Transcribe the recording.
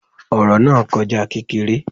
Ọ̀rọ̀ náà kọjá kékeré